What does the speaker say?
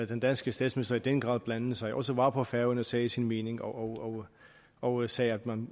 den danske statsminister i den grad blandede sig og også var på færøerne og sagde sin mening og og sagde at man